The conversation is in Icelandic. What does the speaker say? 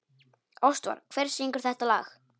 Ástvar, hver syngur þetta lag?